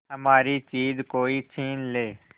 हमारी चीज कोई छीन ले